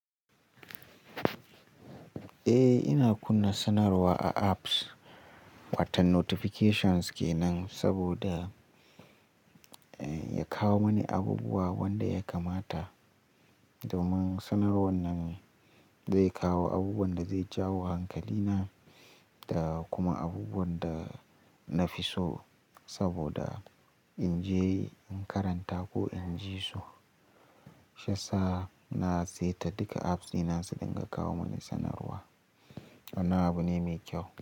Eh, ina kunna sanarwa a apps. Watan notifications ke nan saboda ya kawo mani abubuwa wanda ya kamata. Domin sanarwar nan zai kawo abubuwan da zai jawo hankalina da kuma abubuwan da na fi so saboda in je in karanta ko in ji su. Sha sa na seta duka apps dina su dinga kawo mani sanarwa. Wannan abu ne mai kyau.